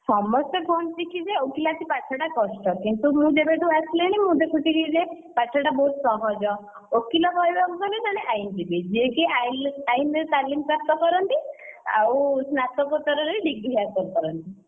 ସମସ୍ତେ କୁହନ୍ତି କି ଯେ ଓକିଲାତି ପାଠ ଟା କଷ୍ଟ କିନ୍ତୁ ମୁଁ ଯେବେ ଠୁ ଆସିଲିଣି ମୁଁ ଦେଖୁଛି ଯେ ପାଠଟା ବହୁତ ସହଜ ଓକିଲ କହିବାକୁ ଗଲେ ଜଣେ ଆଇନଜୀବୀ ଯେ କି ଆଇନରେ ତାଲିମ ପ୍ରାପ୍ତ କରନ୍ତି ଆଉ ସ୍ନାତକୋତ୍ତରରେ degree ହାସଲ କରନ୍ତି।